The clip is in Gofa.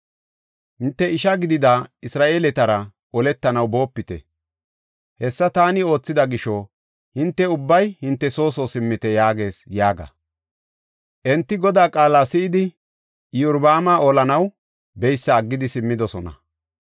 ‘Hinte isha gidida Isra7eeletara oletanaw boopite. Hessa taani oothida gisho hinte ubbay hinte soo soo simmite’ yaagees” yaaga. Enti Godaa qaala si7idi Iyorbaama olanaw beysa aggidi simmidosona.